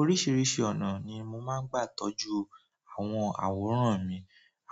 Oríṣìíríṣìí ọ̀nà ni mo máa ń gbà tọ́jú àwọn àwòrán mi.